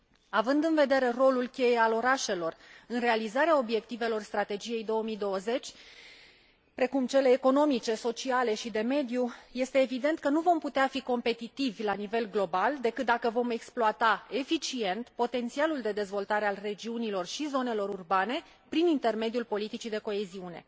Având în vedere rolul cheie al orașelor în realizarea obiectivelor strategiei 2020, precum cele economice, sociale și de mediu, este evident că nu vom putea fi competitivi la nivel global decât dacă vom exploata eficient potențialul de dezvoltare al regiunilor și zonelor urbane, prin intermediul politicii de coeziune.